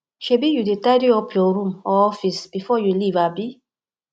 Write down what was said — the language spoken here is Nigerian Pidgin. shebi you dey tidy up your room or office before your leave abi